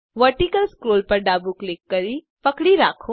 vertical scroll પર ડાબું click કરી પકડી રાખો